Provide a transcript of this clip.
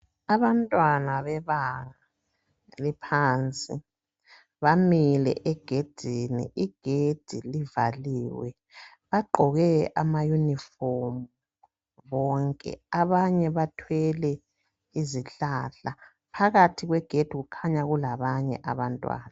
Abantwana beba, bephansi, bamile egedini. Igedi livaliwe. Bagqoke ama yunifomu bonke, abanye bathwele izihlahla. Phakathi kwegedi kukhanya kulabanye abantwana